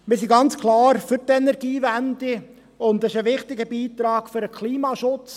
Wir sind ganz klar für die Energiewende, und dies ist ein wichtiger Beitrag für den Klimaschutz.